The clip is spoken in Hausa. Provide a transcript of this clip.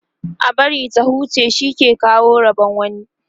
a bari ta huce shi ke kawo Rabon wani